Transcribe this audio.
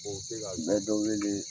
n bɛ dɔ weele